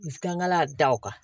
Kangala da o kan